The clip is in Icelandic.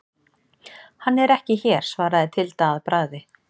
Hann er ekki hér, svaraði Tilda að bragði.